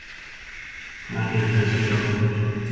Hvar eru þessir fjármunir